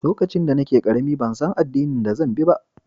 Lokacin da nake karemi, ban san addinin da zan bi ba.